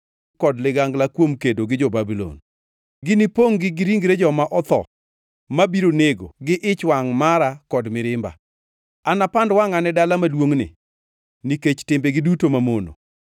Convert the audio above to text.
kuom kedo gi jo-Babulon: ‘Ginipongʼ-gi gi ringre joma otho mabiro nego gi ich wangʼ mara kod mirimba. Anapand wangʼa ne dala maduongʼni nikech timbegi duto mamono.